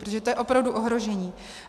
Protože to je opravdu ohrožení.